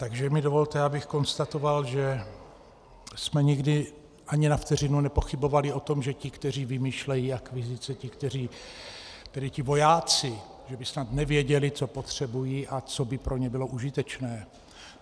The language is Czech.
Takže mi dovolte, abych konstatoval, že jsme nikdy ani na vteřinu nepochybovali o tom, že ti, kteří vymýšlejí akvizice, tedy ti vojáci, že by snad nevěděli, co potřebují a co by pro ně bylo užitečné.